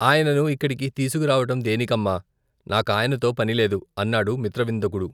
ఆయనను ఇక్కడికి తీసుకురావటం దేనికమ్మా? నాకాయనతో పనిలేదు! అన్నాడు మిత్రవిందకుడు.